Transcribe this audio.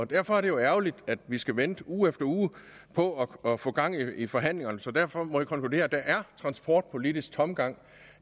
derfor er det jo ærgerligt at vi skal vente uge efter uge på at få gang i forhandlingerne så derfor må jeg konkludere at der er transportpolitisk tomgang